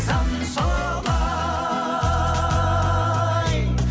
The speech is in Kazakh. заң солай